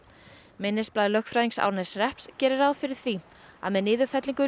minnisblað lögfræðings Árneshrepps gerir ráð fyrir því að með niðurfellingu